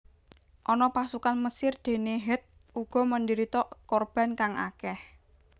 Ana pasukan Mesir dene Het uga menderita korban kang akeh